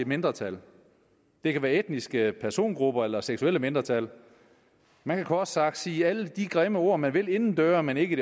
mindretal det kan være etniske persongrupper eller seksuelle mindretal man kan kort sagt sige alle de grimme ord man vil indendøre men ikke